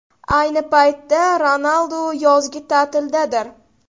Ayni paytda Ronaldu yozgi ta’tildadir.